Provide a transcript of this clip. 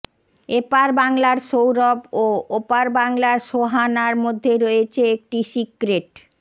এপার বাংলার সৌরভ ও ওপার বাংলার সোহানার মধ্যে রয়েছে একটি সিক্রেট